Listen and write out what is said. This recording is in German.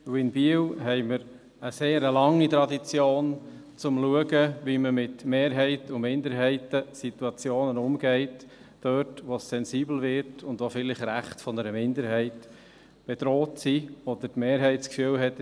Denn in Biel haben wir eine sehr lange Tradition, wie man mit Mehrheiten- und Minderheitensituationen umgeht, dort, wo es sensibel wird und vielleicht Rechte einer Minderheit bedroht sind, oder dort, wo die Mehrheit das Gefühl hat: